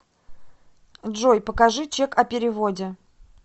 джой покажи чек о переводе